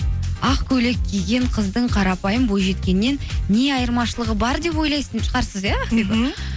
ақ көйлек киген қыздың қарапайым бойжеткеннен не айырмашылығы бар деп ойлайтын шығарсыз иә ақбибі мхм